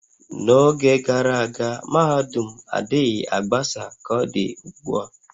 N'oge gara aga, mahadum adịchaghị agbasa ka ọ dị ugbu a